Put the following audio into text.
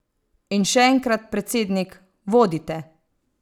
In še enkrat, predsednik, vodite!